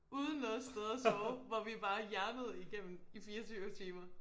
Uden noget sted at sove hvor vi bare jernede igennem i 24 timer